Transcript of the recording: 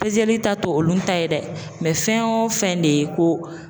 Pezeli ta te olu ta ye dɛ. fɛn wo fɛn de ye ko